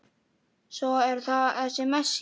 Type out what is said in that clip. Svo er það þessi Messi.